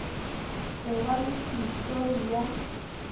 go ba le histori ya